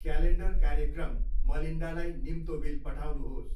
Calendar कार्यक्रम मलिन्डालाई निम्तो बिल पठाउनुहोस्।